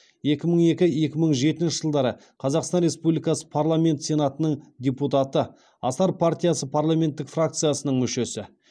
екі мың екі екі мың жетінші жылдары қазақстан республикасы парламенті сенатының депутаты асар партиясы парламенттік фракциясының мүшесі